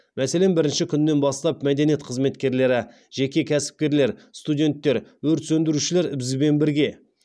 мәселен бірінші күннен бастап мәдениет қызметкерлері жеке кәсіпкерлер студенттер өрт сөндірушілер бізбен бірге